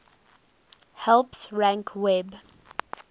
helps rank web